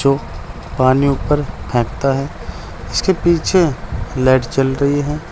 जो पानी ऊपर फेंकता है इसके पीछे लाइट जल रही है।